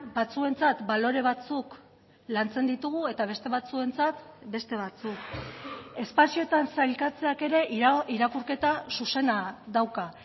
batzuentzat balore batzuk lantzen ditugu eta beste batzuentzat beste batzuk espazioetan sailkatzeak ere irakurketa zuzena dauka